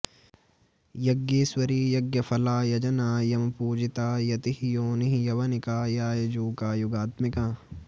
यज्ञेश्वरी यज्ञफला यजना यमपूजिता यतिः योनिः यवनिका यायजूका युगात्मिका